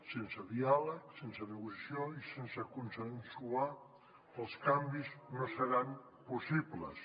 sense diàleg sense negociació i sense consensuar els canvis no seran possibles